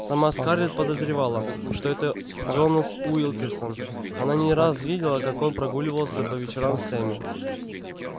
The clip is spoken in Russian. сама скарлетт подозревала что это джонас уилкерсон она не раз видела как он прогуливался по вечерам с эмми